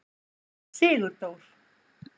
Sigurdór